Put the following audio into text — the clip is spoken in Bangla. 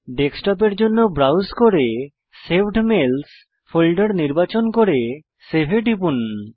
ডেস্কটপের জন্য ব্রাউজ করে সেভড মেইলস ফোল্ডার নির্বাচন করে সেভ এ টিপুন